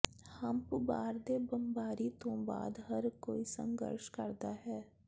hump ਬਾਰ ਦੇ ਬੰਬਾਰੀ ਤੋਂ ਬਾਅਦ ਹਰ ਕੋਈ ਸੰਘਰਸ਼ ਕਰਦਾ ਹੈ